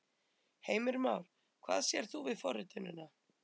Heimir Már: Hvað sérð þú við forritunina?